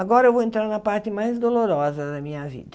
Agora eu vou entrar na parte mais dolorosa da minha vida.